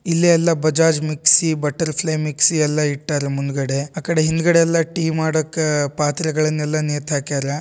ಇಲ್ಲಿ ಎಲ್ಲ Bajaj mixie butterfly mixie ಎಲ್ಲ ಇಟ್ಟಾರ್ರ ಮುಂದ್ಗಡೆ ಆಕಡೆ ಹಿಂದ್ಗಡೆ ಎಲ್ಲ ಟೀ ಮಾಡಕ್ಕೆ ಪಾತ್ರೆಗಳನ್ನೆಲ್ಲಾ ನೇತುಹಾಕ್ಯಾರ.